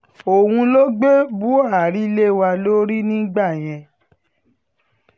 òun ló gbé buhari lé wa lórí nígbà yẹn